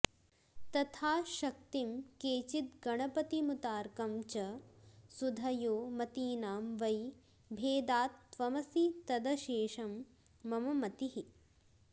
तथा शक्तिं केचिद्गणपतिमुतार्कं च सुधियो मतीनां वै भेदात्त्वमसि तदशेषं मम मतिः